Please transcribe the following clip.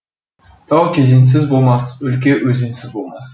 тау кезеңсіз болмас өлке өзенсіз болмас